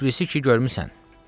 Tiflisi ki görmüsən?